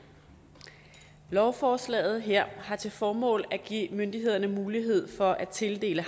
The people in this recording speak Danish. lovforslaget her har til formål at give myndighederne mulighed for at tildele